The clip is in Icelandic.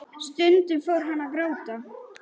Stundum fór hún að gráta.